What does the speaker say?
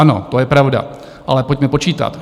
Ano, to je pravda, ale pojďme počítat.